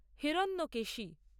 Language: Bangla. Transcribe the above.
হিরণ্যকেশী